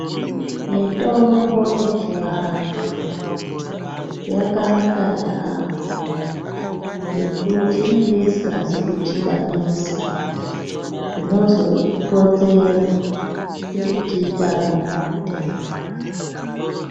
Mitombo yechivantu, yakanaka yaamho ngekuti inenge isina kudhibaniswa, zvinozo konzera kuti tiite amweni matenda.